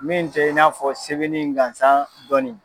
Min tɛ i n'a fɔ sɛbɛnni in gansan dɔnni ye.